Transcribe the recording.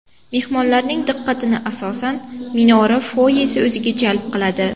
Mehmonlarning diqqatini asosan, minora foyesi o‘ziga jalb qiladi.